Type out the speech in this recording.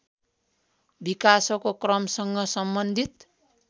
विकासको क्रमसँग सम्बन्धित